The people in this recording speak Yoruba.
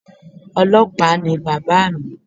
Ọlọ́pàá ni bàbáa mi